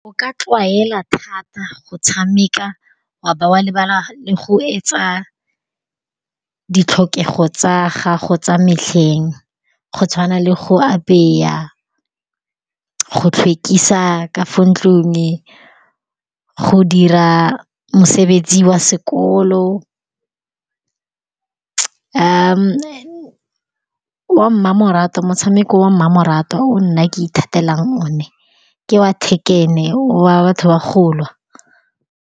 O ka tlwaela thata go tshameka wa be wa lebala le go etsa ditlhokego tsa gago tsa metlheng. Go tshwana le go apeya, go tlhwekisa ka fo ntlong, go dira mosebetsi wa sekolo. Wa mmamoratwa, motshameko wa mmamoratwa o nna ke ithatelang one, ke wa Tekken wa batho ba go lwa.